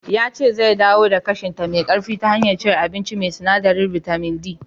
Ya ce zai dawo da ƙashinta me ƙarfi ta hanyar cin abinci mai sinadarin bitamin D.